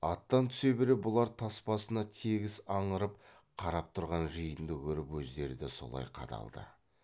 аттан түсе бере бұлар тас басына тегіс аңырып қарап тұрған жиынды көріп өздері де солай қадалды